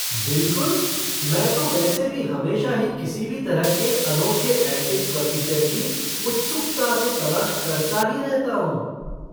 बिलकुल! मैं तो वैसे भी हमेशा ही किसी भी तरह के अनोखे एंटीक फ़र्नीचर की उत्सुकता से तलाश करता ही रहता हूँ।